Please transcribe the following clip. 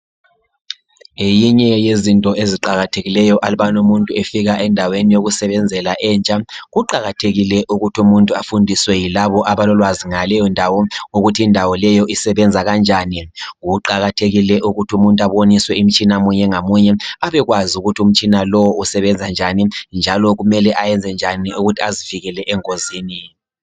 Ngeyinye yezinto eziqakathekileyo alubana umuntu efika endaweni yokusebenzela entsha kuqakathekile ukuthi umuntu afundiswe yilaba abalolwazi ngaleyo ndawo ukuthi indawo leyo isebenza kanjani. Kuqakathekile ukuthi umuntu aboniswe imitshina munye ngamunye abekwazi ukuthi umtshina lowu usebenza njani njalo kumele ayenze njani ukuthi azivikele engozini.